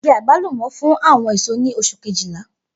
Igi agbalumo fun awọn eso ni oṣu Kejìlá.